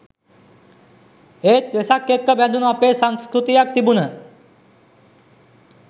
එත් වෙසක් එක්ක බැදුණු අපේ සංස්කෘතියක් තිබුන